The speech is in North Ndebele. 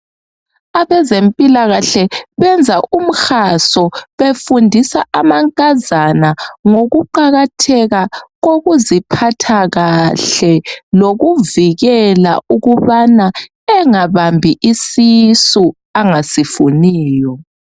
Abezempilakahle benza umhaso. Befundisa amankazana ngokuqakatheka kokuziphatha kahle. Lokuvikela ukuba angabambi isisu, angasifuniyo.